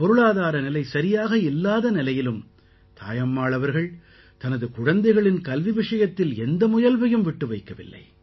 பொருளாதார நிலை சரியாக இல்லாத நிலையிலும் தாயம்மாள் அவர்கள் தனது குழந்தைகளின் கல்வி விஷயத்தில் எந்த முயல்வையும் விட்டு வைக்கவில்லை